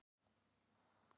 Björn Orri Hermannsson í Fram